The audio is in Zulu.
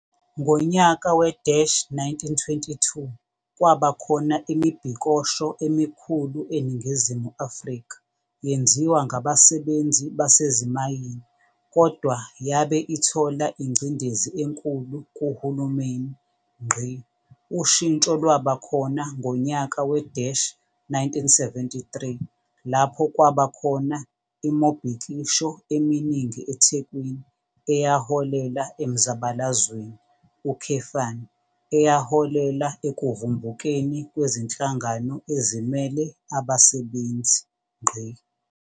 Ngonyaka we-1922 kwaba khona imibhikosho emikhulu eNingizimu Afrika yenziwa ngabasebenzi basezimayini kodwa yabe ithola ingcindezi enkulu kuhulumeni. Ushintso lwaba khona ngonyaka we-1973 lapho kwaba khona imobhikisho eminingi eThekwini eyaholela emzabalazweni, eyaholela ekuvumbukeni kwezinhlangano ezimele abasebenzi.